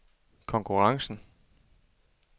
konkurrencen